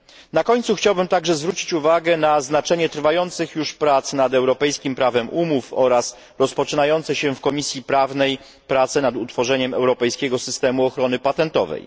Na końcu chciałbym także zwrócić uwagę na znaczenie trwających już prac nad europejskim prawem umów oraz rozpoczynające się w Komisji Prawnej prace nad utworzeniem europejskiego systemu ochron patentowej.